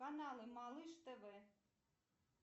каналы малыш тв